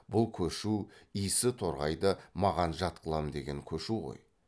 бұл көшу исі торғайды маған жат қылам деген көшу ғой